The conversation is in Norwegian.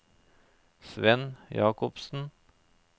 Svenn Jacobsen